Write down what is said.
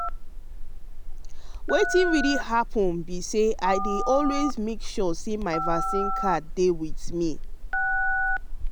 wetin really happen be say i dey always make sure say my vaccine card dey with me.